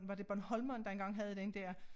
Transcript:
Var det Bornholmeren der engang havde den dér